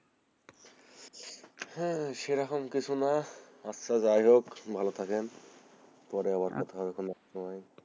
হে সেরকম কিছু না আচ্ছা যাই হোক ভালো থাকেন পরে আবার কথা হবে,